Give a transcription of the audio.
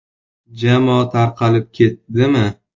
Jamoa tarqalib ketdimi?